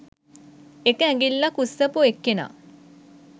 එක ඇඟිල්ලක් උස්සපු එක්කෙනා